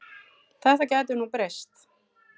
Þetta gæti nú breyst.